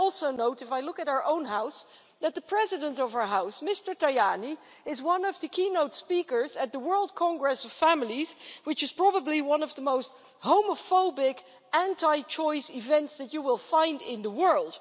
But I note, too, if I look at our own House, that the President of our House, Mr Tajani, is one of the keynote speakers at the World Congress of Families, which is probably one of the most homophobic, anti choice events that you will find in the world.